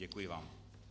Děkuji vám.